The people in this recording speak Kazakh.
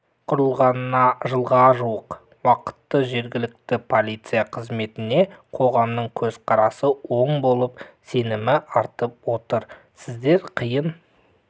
құрылғанына жылға жуық уақытта жергілікті полиция қызметіне қоғамның көзқарасы оң болып сенімі артып отыр сіздер қиын